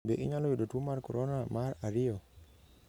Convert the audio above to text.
Be inyalo yudo tuo mar coronavirus mar ariyo?